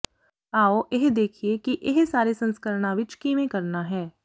ਆਓ ਇਹ ਦੇਖੀਏ ਕਿ ਇਹ ਸਾਰੇ ਸੰਸਕਰਣਾਂ ਵਿੱਚ ਕਿਵੇਂ ਕਰਨਾ ਹੈ